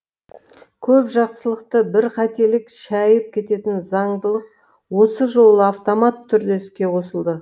көп жақсылықты бір қателік шәйіп кететін заңдылық осы жолы автоматты түрде іске қосылды